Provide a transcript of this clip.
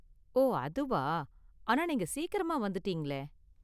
ஓ, அதுவா? ஆனா நீங்க சீக்கிரமா வந்துட்டீங்களே.